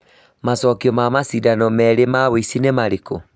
macokio ma macindano merĩ ma ucl nĩ marĩkũ